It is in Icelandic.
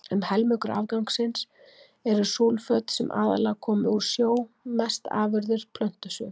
Um helmingur afgangsins eru súlföt, sem aðallega koma úr sjó, mest afurðir plöntusvifs.